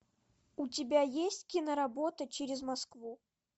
у тебя есть киноработа через москву